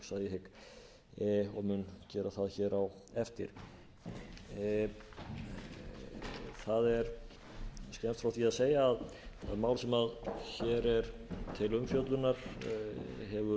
það hér á eftir það er skemmst frá því að segja að það mál sem hér er til umfjöllunar hefur nú verið